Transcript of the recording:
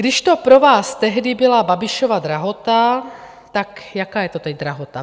Když to pro vás tehdy byla Babišova drahota, tak jaká je to teď drahota?